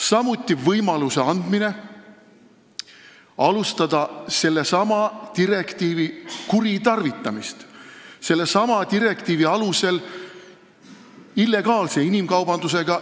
Samuti anname sellesama direktiiviga võimaluse panna alus illegaalsele inimkaubandusele.